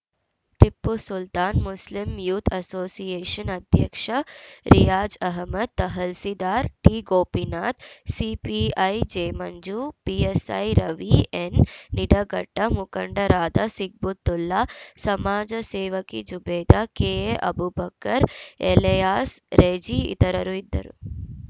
Tipu Sultan Muslim youth association ಅಧ್ಯಕ್ಷ Riyaz Ahmed tahsildar ಟಿಗೋಪಿನಾಥ್‌ CPI J Manju PSI Ravi N Nidaghatta ಮುಖಂಡರಾದ ಸಿಗ್ಬುತ್ತುಲ್ಲಾ ಸಮಾಜ ಸೇವಕಿ ಜುಬೇದಾ ಕೆಎ ಅಬೂಬಕರ್‌ ಎಲೆಯಾಸ್‌ ರೆಜಿ ಇತರರು ಇದ್ದರು